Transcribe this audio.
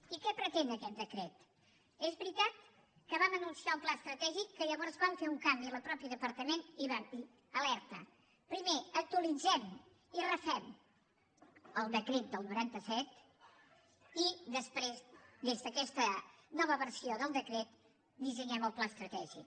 i què pretén aquest decret és veritat que vam anunciar un pla estratègic que llavors vam fer un canvi al mateix departament i vam dir alerta primer actualitzem i refem el decret del noranta set i després des d’aquesta nova versió del decret dissenyem el pla estratègic